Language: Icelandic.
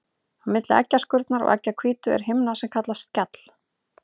Á milli eggjaskurnar og eggjahvítu er himna sem kallast skjall.